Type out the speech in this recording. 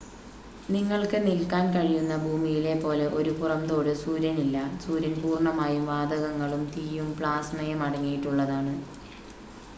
നിങ്ങൾക്ക് നിൽക്കാൻ കഴിയുന്ന ഭൂമിയിലെ പോലെ ഒരു പുറംതോട് സൂര്യനില്ല സൂര്യൻ പൂർണ്ണമായും വാതകങ്ങളും തീയും പ്ലാസ്മയും അടങ്ങിയിട്ടുള്ളതാണ്